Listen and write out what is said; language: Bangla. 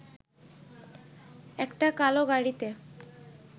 একটা কালো গাড়িতে